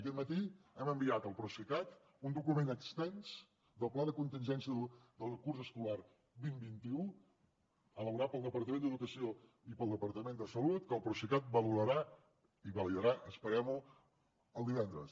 aquest matí hem enviat al procicat un document extens del pla de contingència del curs escolar vint vint un elaborat pel departament d’educació i pel departament de salut que el procicat valorarà i validarà esperem ho el divendres